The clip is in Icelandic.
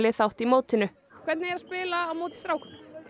þátt í mótinu hvernig er að spila á móti strákum